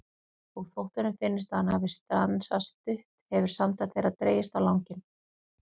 Og þótt honum finnist að hann hafi stansað stutt hefur samtal þeirra dregist á langinn.